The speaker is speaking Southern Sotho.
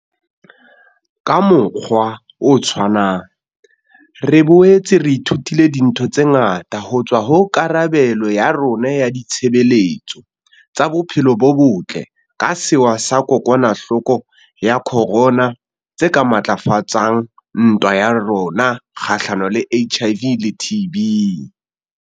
Ka mokgwa o tshwanang, re boetse re ithutile dintho tse ngata ho tswa ho karabelo ya rona ya ditshebeletso tsa bophelo bo botle ka sewa sa kokwanahloko ya corona tse ka matlafatsang ntwa ya rona kgahlano le HIV le TB.